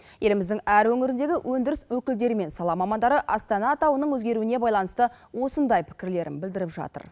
еліміздің әр өңіріндегі өндіріс өкілдері мен сала мамандары астана атауының өзгеруіне байланысты осындай пікірлерін білдіріп жатыр